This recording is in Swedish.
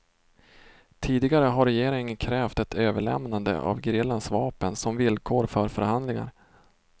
Tidigare har regeringen krävt ett överlämnande av gerillans vapen som villkor för förhandlingar.